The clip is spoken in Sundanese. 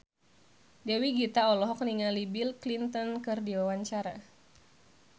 Dewi Gita olohok ningali Bill Clinton keur diwawancara